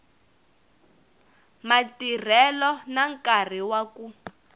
matirhelo na nkarhi wa ku